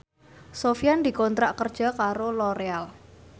Sofyan dikontrak kerja karo Loreal